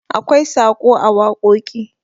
akwai Saƙo a wakoki